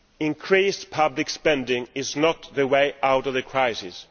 Increased public spending is not the way out of the crisis